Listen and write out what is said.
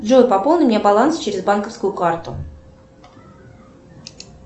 джой пополни мне баланс через банковскую карту